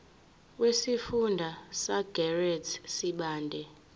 wesifunda sasegert sibande